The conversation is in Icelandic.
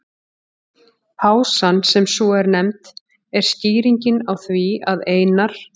Pásan, sem svo er nefnd, er skýringin á því að Einar